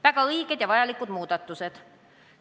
Väga õiged ja vajalikud muudatused.